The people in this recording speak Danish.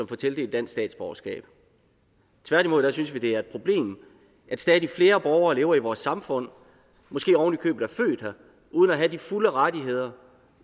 får tildelt dansk statsborgerskab tværtimod synes vi det er et problem at stadig flere borgere lever i vores samfund måske ovenikøbet er født her uden at have de fulde rettigheder